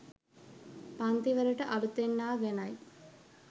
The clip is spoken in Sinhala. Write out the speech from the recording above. පන්තිවලට අළුතින් ආ ගැනයි.